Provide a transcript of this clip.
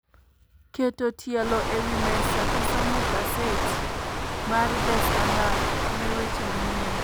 Keto tielo e wi mesa gi somo gaset mar The Standard ne weche manyien